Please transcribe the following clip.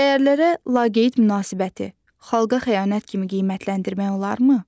Dəyərlərə laqeyd münasibəti xalqa xəyanət kimi qiymətləndirmək olarmı?